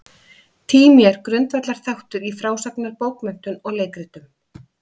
Tími er grundvallarþáttur í frásagnarbókmenntum og leikritum.